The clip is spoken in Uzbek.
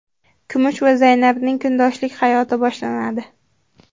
Kumush va Zaynabning kundoshlik hayoti boshlanadi.